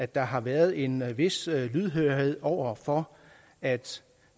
der har været en vis lydhørhed over for at